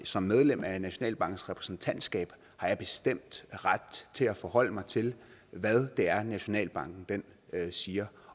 som medlem af nationalbankens repræsentantskab har jeg bestemt ret til at forholde mig til hvad det er nationalbanken siger